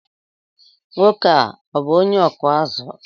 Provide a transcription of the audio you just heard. Nwoke a ọ bú onye ọkụ azụ?